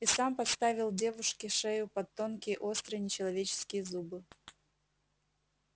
и сам подставил девушке шею под тонкие острые нечеловеческие зубы